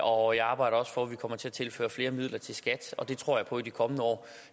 og jeg arbejder også for at vi kommer til at tilføre flere midler til skat og det tror jeg på i de kommende år